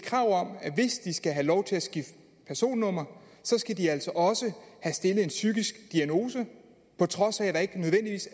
skal have lov til at skifte personnummer skal de altså også have stillet en psykisk diagnose på trods af